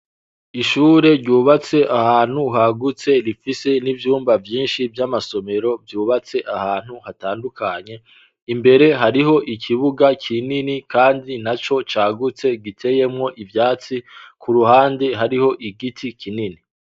Ishure ryubatse ahantu hagutse rifise n'ivyumba vyinshi vy'amasomero vyubatse ahantu hatandukanye imbere hariho ikibuga kinini, kandi na co cagutse giteyemwo ivyatsi ku ruhande hariho igiti kinini.